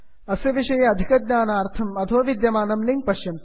अस्य विषये अधिकज्ञानार्थं अधो विद्यमानं लिंक् पश्यन्तु